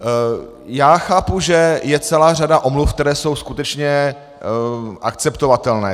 Já chápu, že je celá řada omluv, které jsou skutečně akceptovatelné.